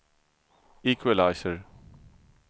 equalizer